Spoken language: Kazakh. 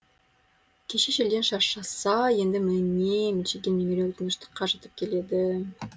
кеше желден шаршаса енді міне мелшиген меңіреу тыныштық қажытып келеді